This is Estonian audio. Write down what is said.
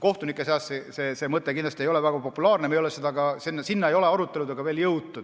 Kohtunike seas see mõte kindlasti väga populaarne ei ole, sinna ei ole aruteludega veel ka jõutud.